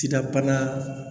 Sidabana